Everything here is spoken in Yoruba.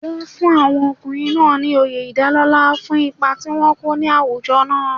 Wọ́n fún àwọn ọkùnrin náà ní oyè ìdálọ́lá fún ipa tí wọ́n kó ní àwùjọ náà.